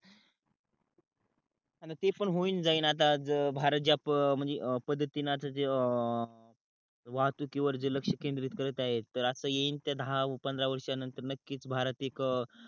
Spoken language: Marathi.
आणि ते पण होवून जाईल आता भारत ज्या पद्धतीन आता जे अं वाहतुकीवर जे लक्ष्य केंद्रित करत आहे तर अस येईन त्या दहा पंधरा वर्षा नंतर नक्कीच भारत एक